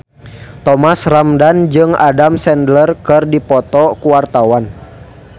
Thomas Ramdhan jeung Adam Sandler keur dipoto ku wartawan